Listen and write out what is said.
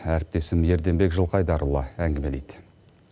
әріптесім ерденбек жылқайдарұлы әңгімелейді